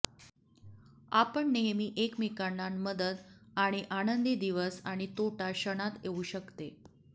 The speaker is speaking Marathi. आपण नेहमी एकमेकांना मदत आणि आनंदी दिवस आणि तोटा क्षणात येऊ शकते